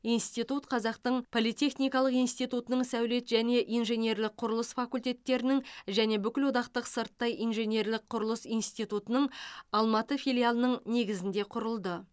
институт қазақтың политехникалық институтының сәулет және инженерлік құрылыс факультеттерінің және бүкілодақтық сырттай инженерлік құрылыс институтының алматы филиалының негізінде құрылды